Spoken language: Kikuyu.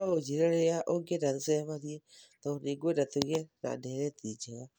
No ũnjĩĩre rĩrĩa ũngĩenda tũcemanie tondũ nĩ ngwenda tũgĩe na ndeereti njega.